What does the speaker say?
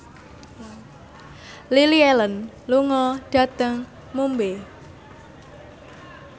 Lily Allen lunga dhateng Mumbai